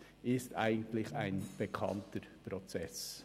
Dies ist ein grundsätzlich bekannter Prozess.